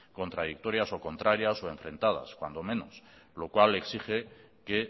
contradictorias o contrarias o enfrentadas cuando menos lo cual exige que